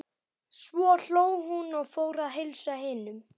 Svo hló hún og fór að heilsa hinum.